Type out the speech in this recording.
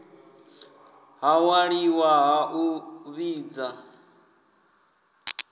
ha ṅwaliwa ha u vhidza